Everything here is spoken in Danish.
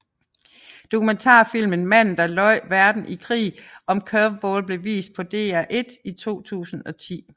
Dokumentarfilmen Manden der løj verden i krig om Curveball blev vist på DR1 i 2010